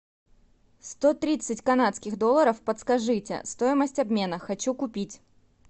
сто тридцать канадских долларов подскажите стоимость обмена хочу купить